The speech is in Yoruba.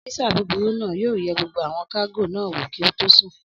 Ọ́físà búburú náà yóò yẹ gbogbo àwọn kágò náà wò kí ó tó sùn